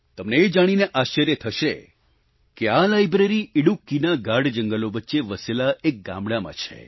તમને એ જાણીને આશ્ચર્ય થશે કે આ લાઈબ્રેરી ઈડુક્કીના ગાઢ જંગલો વચ્ચે વસેલા એક ગામડાંમાં છે